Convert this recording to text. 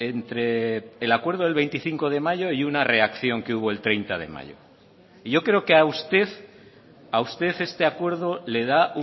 entre el acuerdo del veinticinco de mayo y una reacción que hubo el treinta de mayo y yo creo que a usted a usted este acuerdo le da